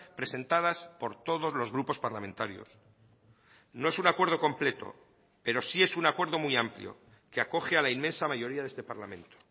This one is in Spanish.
presentadas por todos los grupos parlamentarios no es un acuerdo completo pero sí es un acuerdo muy amplio que acoge a la inmensa mayoría de este parlamento